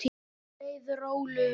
Nú leið Rolu vel.